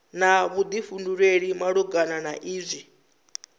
na vhuḓifhinduleli malugana na izwi